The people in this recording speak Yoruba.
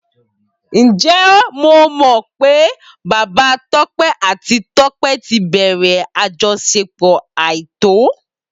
Ǹjẹ́ o mọ̀ pé Bàbá Tọ́pẹ́ àti Tọ́pẹ́ ti bẹ̀rẹ̀ àjọṣepọ̀ àìtọ́?